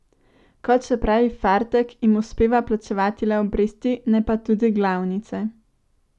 Kot še pravi Fartek, jim uspeva plačevati le obresti, ne pa tudi glavnice.